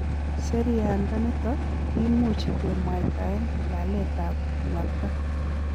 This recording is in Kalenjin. Seriandaniton kimuch kemwaitaen laletab nuakta.